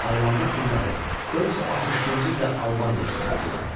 Haylandur hunları 462-ci ildə Albaniyaya soxuldular.